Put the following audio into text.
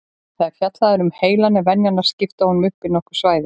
Þegar fjallað er um heilann er venjan að skipta honum upp í nokkur svæði.